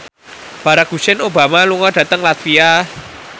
Barack Hussein Obama lunga dhateng latvia